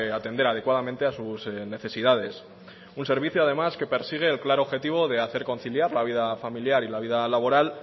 atender adecuadamente a sus necesidades un servicio además que persigue el claro objetivo de hacer conciliar la vida familiar y la vida laboral